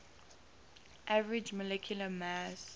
average molecular mass